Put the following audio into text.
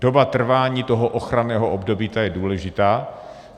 Doba trvání toho ochranného období, ta je důležitá.